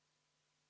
Soovite ka vaheaega?